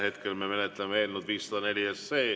Hetkel me menetleme eelnõu 504.